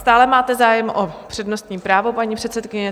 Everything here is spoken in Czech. Stále máte zájem o přednostní právo, paní předsedkyně?